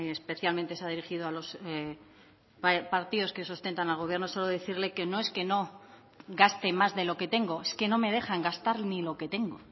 especialmente se ha dirigido a los partidos que sustentan al gobierno solo decirle que no es que no gaste más de lo que tengo es que no me dejan gastar ni lo que tengo